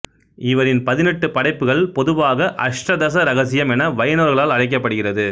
இவரின் பதினெட்டு படைப்புகள் பொதுவாக அஷ்டதச ரகசியம் என வைணவர்களால் அழைக்கப்படுகிறது